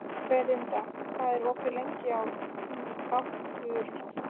Ferdinand, hvað er opið lengi í ÁTVR?